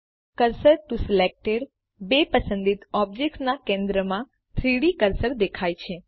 cursor to selected બે પસંદિત ઑબ્જેક્ટના કેન્દ્રમાં 3ડી કર્સર દેખાય છે